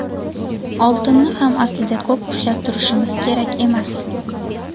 Oltinni ham aslida ko‘p ushlab turishimiz kerak emas.